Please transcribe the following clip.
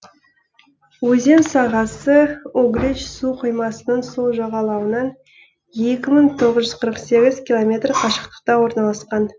өзен сағасы углич су қоймасының сол жағалауынан екі мың тоғыз жүз қырық сегіз километр қашықтықта орналасқан